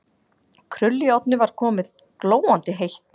Krullujárnið var komið, glóandi heitt.